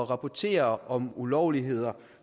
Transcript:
rapportere om ulovligheder og